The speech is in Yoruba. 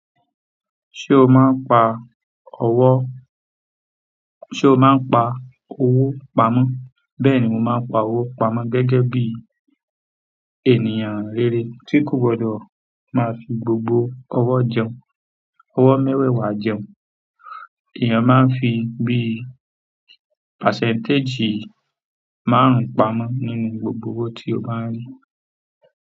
Ṣé o máa ń pa ọwọ́—ṣé o máa ń pa owó pamọ́? Bẹ́ẹ̀ni mo máa ń pa owó pamọ́, gẹ́gẹ́ bíi ènìyàn rere tí kò gbọdọ̀ máa fi gbogbo ọwọ́ jẹun ọwọ́ mẹ́wẹ̀ẹ̀wà jẹun. Èyàn máa ń fi bíi pàsẹ́ńtéjì márùn-ún pamọ́ nínú gbogbo owó tí ó bá ń rí.